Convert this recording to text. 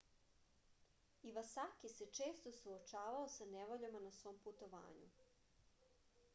ivasaki se često suočavao sa nevoljama na svom putovanju